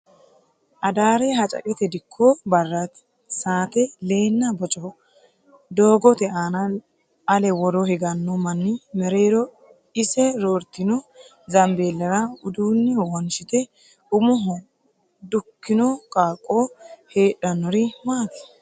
Adaare Hacaqate Dikko barraati. Saate leenna bocoho. Doogote aana ale woro higanno manni mereero ise roortino zambeellera uduunne wonshite umoho dukkino qaaqqo hadhinnori maati?